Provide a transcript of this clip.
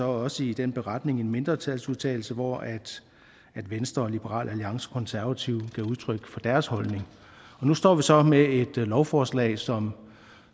også i den beretning en mindretalsudtalelse hvor venstre liberal alliance og konservative gav udtryk for deres holdning nu står vi så med et lovforslag som